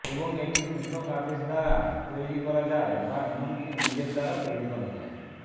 এবং এটি পৃথক আদেশ দ্বারা তৈরি করা যায় বা এমনকি নিজের দ্বারা তৈরি করা যায়